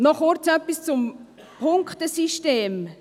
Noch kurz etwas zum Punktesystem.